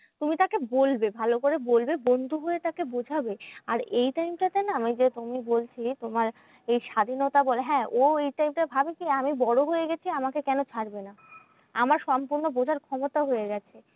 তুমি তাকে বলবে ভালো করে বলবে বন্ধু হয়ে এটাকে বোঝাবে। আর এই time টা তে না ওই যে তুমি বলছিলে, তোমার এই স্বাধীনতা বলে হ্যাঁ ও এই time টায় ভাবে কি? আমি বড় হয়ে গেছি আমাকে কেন ছাড়বে না? আমার সম্পূর্ণ বোঝার ক্ষমতা হয়ে গেছে।